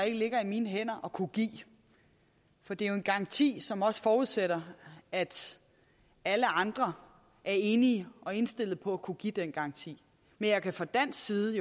ikke ligger i mine hænder at kunne give for det er jo en garanti som også forudsætter at alle andre er enige og er indstillet på at kunne give den garanti men jeg kan fra dansk side